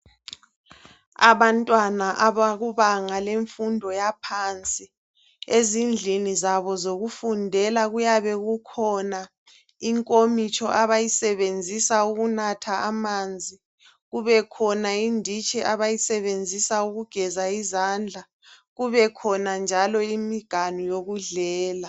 Abantwana abakubanga lemfundo yaphansi, ezindlini zabo zokufundela kuyabe kukhona inkomitsho abayisebenzisa ukunatha amanzi, kubekhona inditshi abayisebenzisa ukugeza izandla kube khona njalo imiganu yokudlela.